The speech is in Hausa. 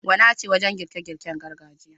Gwana ce wajen girke girken gargajiya.